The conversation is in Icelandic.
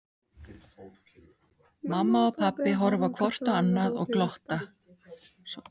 Mamma og pabbi horfa hvort á annað og glotta.